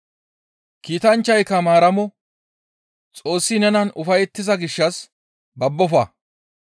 Kiitanchchayka Maaramo, «Xoossi nenan ufayettiza gishshas babbofa!